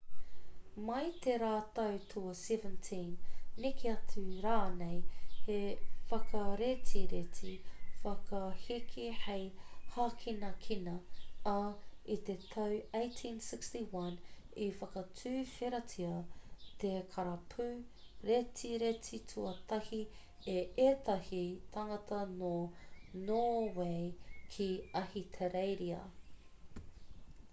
mai i te rautau tua 17 neke atu rānei te whakaretireti whakaheke hei hākinakina ā i te tau 1861 i whakatuwheratia te karapu retireti tuatahi e ētahi tāngata nō nōwei ki ahitereiria